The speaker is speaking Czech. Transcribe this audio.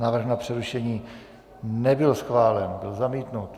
Návrh na přerušení nebyl schválen, byl zamítnut.